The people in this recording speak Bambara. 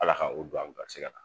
Ala ka o don an garisigɛ la